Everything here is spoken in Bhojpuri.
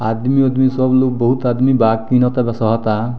आदमी-उदमी सब लोग बहुत आदमी बा तीनों तरफ से अता।